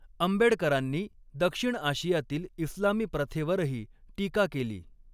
आंबेडकरांनी दक्षिण आशियातील इस्लामी प्रथेवरही टीका केली.